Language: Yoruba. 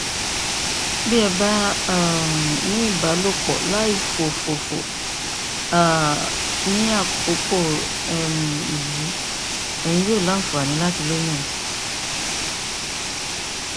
bí ẹ bá um ní ìbálòpọ láìfòfòfò um ní àkókò um yìí ẹyin yóò ní àǹfààní láti lóyún